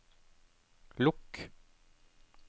lukk